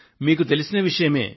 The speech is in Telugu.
మీకు తెలిసిన విషయమే